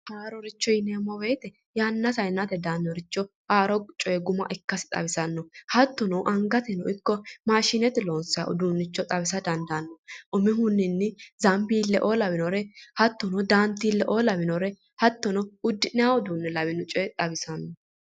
Haaroricho yineemmo woyte yanna yannate daannoricho haaro coye guma ikkasi xawisanno hattono angateno ikko maashinete loonsayi uduunnicho xawisa dandaanno umihunni zambiille"oo lawinore hattono daantiille"oo lawinore hattono uddi'nayi uduunne lawinore xawisanno